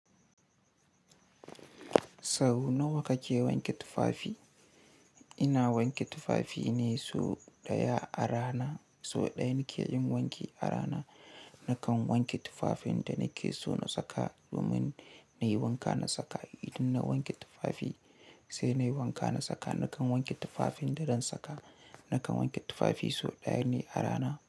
Sau nawa kake wanke tufafi? Ina wanke tufafi ne sau ɗaya a rana. Sau ɗaya nake yin wanki a rana. Nakan wanke tufafin da nake so na saka domin na yi wanka na saka. Idan na wanke tufafi sai na yi wanka na saka. Nakan wanke tufafin da zan saka. Nakan wanke tufafi sau ɗaya ne a rana.